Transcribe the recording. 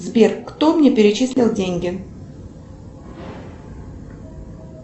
сбер кто мне перечислил деньги